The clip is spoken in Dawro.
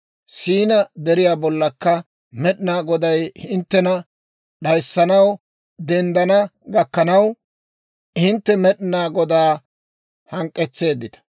Siinaa Deriyaa bollakka Med'inaa Goday hinttena d'ayissanaw denddana gakkanaw, hintte Med'inaa Godaa hank'k'etseeddita.